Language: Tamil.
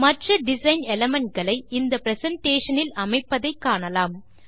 மற்ற டிசைன் எலிமெண்ட் களை இந்த பிரசன்டேஷன் இல் அமைப்பதை காணலாம்